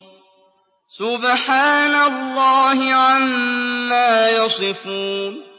سُبْحَانَ اللَّهِ عَمَّا يَصِفُونَ